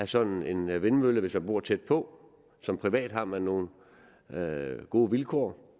sådan en vindmølle hvis man bor tæt på som privat har man nogle gode vilkår